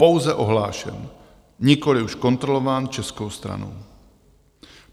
Pouze ohlášen, nikoliv už kontrolován českou stranou.